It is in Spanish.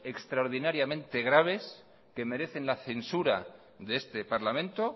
extraordinariamente graves que merecen la censura de este parlamento